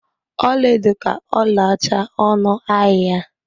Ọlaedo ka ọlaọcha ọnụ ahịa.